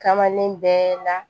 Kamalen bɛɛ na